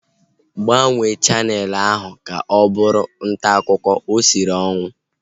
Gbanwee chaneelụ ahu ka ọ bụrụ ntaakụkọ! O siri ọnwụ